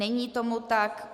Není tomu tak.